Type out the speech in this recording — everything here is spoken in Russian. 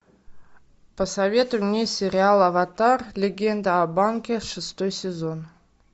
посоветуй мне сериал аватар легенда об аанге шестой сезон